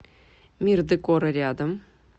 мир декора рядом